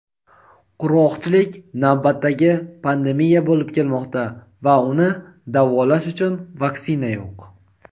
"Qurg‘oqchilik navbatdagi pandemiya bo‘lib kelmoqda va uni "davolash" uchun "vaksina" yo‘q.